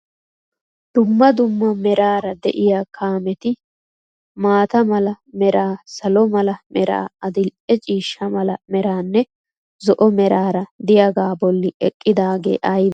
Dumma dumma meraara diya kaameti maata mala meraa, salo mala meraa, adil'e ciishsha mala meranne zo'o meraara diyagaa bolli eqqidaagee ayibee?